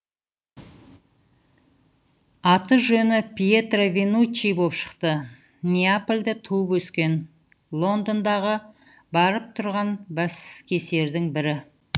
аты жөні пьетро венуччи боп шықты неапольда туып өскен лондондағы барып тұрған баскесердің бірі